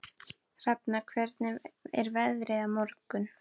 Hrafna, hvernig er veðrið á morgun?